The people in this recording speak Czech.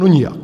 No nijak.